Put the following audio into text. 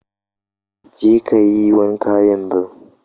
Je ka yi wanka yanzu.